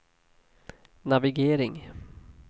navigering